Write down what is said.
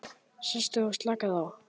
Sestu og slakaðu á.